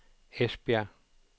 Esbjerg